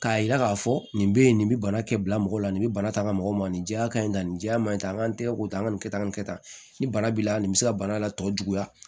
K'a yira k'a fɔ nin bɛ ye nin bɛ bana kɛbila mɔgɔ la nin bɛ bana ta an ka mɔgɔ ma nin jɛya ka ɲi ka nin jɛya man ɲi tan an k'an tɛgɛ ko tan an ka nin kɛ tan nin kɛ tan ni bana b'i la nin bɛ se ka bana la tɔ juguya